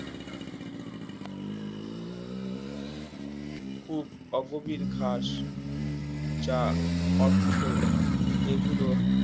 খুব অগভীর ঘাস যা অর্থ এগুলো